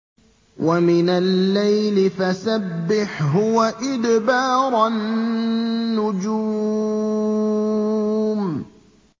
وَمِنَ اللَّيْلِ فَسَبِّحْهُ وَإِدْبَارَ النُّجُومِ